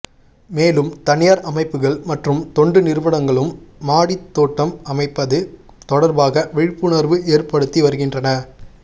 மேலும் தனியார் அமைப்புகள் மற்றும் தொண்டு நிறுவனங்களும் மாடித் தோட்டம் அமைப்பது தொடர்பாக விழிப்புணர்வு ஏற் படுத்தி வருகின்றன